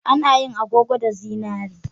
A na yin agogo da zinari